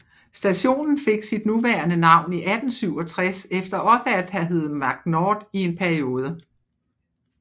Stationen fik sit nuværende navn i 1867 efter også at have hedde Magnord i en periode